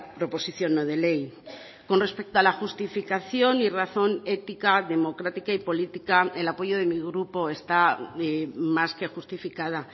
proposición no de ley con respecto a la justificación y razón ética democrática y política el apoyo de mi grupo está más que justificada